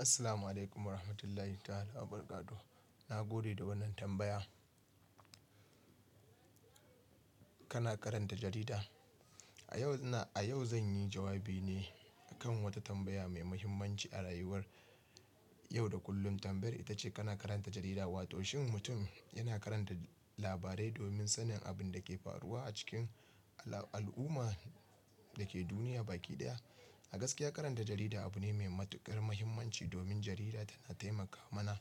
Assalamualaikum warahmatullahi ta'ala wabarakatuh. Na gode da wannan tambaya. Kana karanta jarida? A yau, a yau zan yi jawabi ne kan wata tambaya mai muhimmanci a rayuwar yau da kullum. Tambayar ita ce: kana karanta jarida? Wato shin mutum yana karanta labarai domin sanin abin da ke faruwa a cikin al'umma da ke duniya baki ɗaya. A gaskiya karanta jarida abu ne mai matuƙar muhimmanci domin jarida tana taimaka mana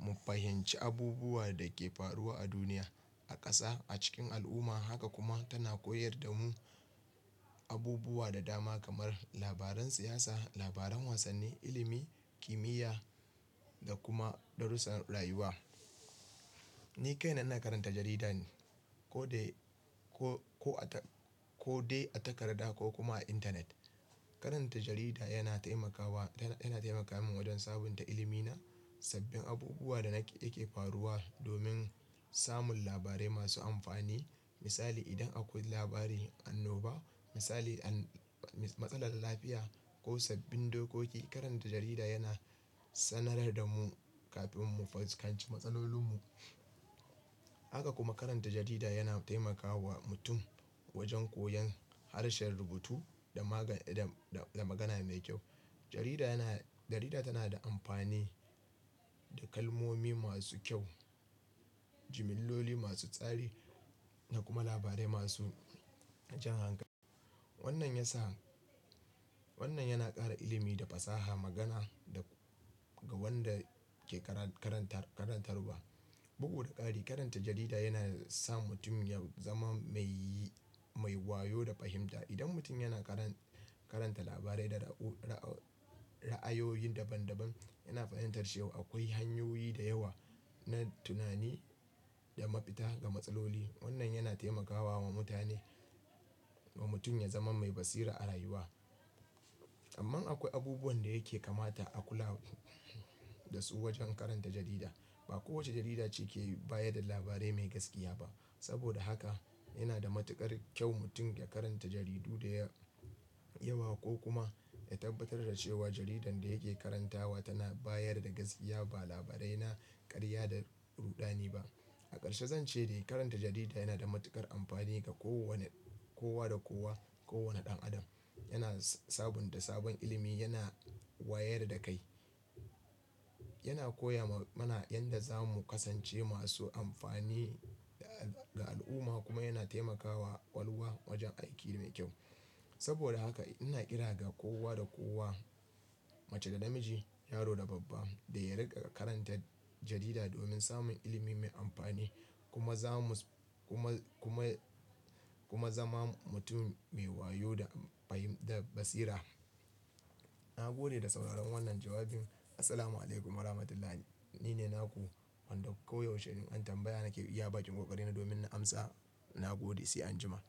mu fahimci abubuwan da ke faruwa a duniya, a ƙasa, a cikin al'umma. Haka kuma tana koyar da mu abubuwa da dama kamar labaran siyasa, labaran wasanni, ilimi, kimiyya da kuma darussan rayuwa. Ni kaina ina karanta jarida ne ko dai, ko, ko a tak-- ko dai a takarda ko kuma a intanet. Karanta jarida yana taimakawa, yana, yana taimaka min wajen sabunta ilimina, sabbin abubuwan da na ke, ke faruwa domin samun labarai masu amfani. Misali, idan akwai labari anoba, misali, an-- matsalar lafiya ko sabbin dokoki, karanta jarida yana sanar da mu kafin mu fuskanci matsalolinmu. Haka kuma karanta jarida yana taimakawa mutum wajen koyan harshen rubutu da magan-- da, da magana mai kyau. Jarida yana-- jarida tana da amfani da kalmomi masu kyau, jimilloli masu tsari da kuma labarai masu jan hankali. Wannan ya sa, wannan yana ƙara ilimi da fasaha magana da, ga wanda ke kara-karantar, karantarwa. Bugu da ƙari, karanta jarida yana sa mutum ya zama mai, mai wayo da fahimta. Idan mutum yana karan-karanta labarai da ra'u-ra'ayoyi daban daban, yana fahimtar cewa akwai hanyoyi da yawa na tunani da mapita ga matsaloli. Wannan yana taimakawa mutane, wa mutum ya zama mai basira a rayuwa. Amman akwai abubuwan da yake kamata a kula da su wajen karanta jarida. Ba kowace jarida ce ke bayar da labarai mai gaskiya ba. Saboda haka yana da matuƙar kyau mutum ya karanta jaridu da ya-yawa ko kuma ya tabbatar da cewa jaridar da yake karantawa tana bayar da gaskiya ba labarai na ƙarya da rudani ba. A karshe zan ce dai karanta jarida yana da matuƙar amfani ga kowanne, kowa da kowa, kowane ɗan adam. Yana sabunta sabon ilimi, yana wayar da kai. Yana koya ma mana yadda zamu kasance masu amfani ga al'umma kuma yana taimakawa ƙwalwa wajen aiki mai kyau. Saboda haka ina kira ga kowa da kowa, mace da namiji, yaro da babba da ya riƙa karanta jarida domin samun ilimi mai amfani. Kuma zamu, kuma, kuma, kuma zama mutum mai wayo da fahim-da basira. Na gode da sauraron wannan jawabin. Assalamualaikum warahmatullahi. Ni ne Naku, wanda koyaushe in an tambaya nake iya baƙin kokarina domin na amsa. Na gode, sai anjima.